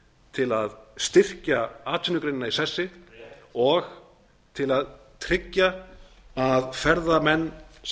til að styrkja atvinnugreinina í sessi og til að tryggja að ferðamenn sem